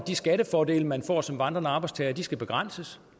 at de skattefordele man får som vandrende arbejdstager skal begrænses